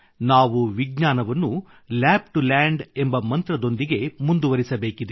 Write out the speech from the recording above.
ನಾವು ವಿಜ್ಞಾನವನ್ನು lab to land ಎಂಬ ಮಂತ್ರದೊಂದಿಗೆ ಮುಂದುವರಿಸಬೇಕಿದೆ